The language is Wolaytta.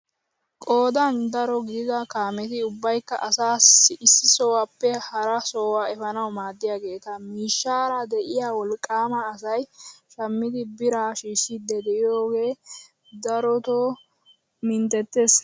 Qoodan daro gidida kaameti ubbaykka asaa issi sohuwaappe hara sohuwaa efanawu maaddiyaageta miishshara de'iyaa wolqqaama asay shammiidi biraa shiishidi de'iyooge darota minttettiis!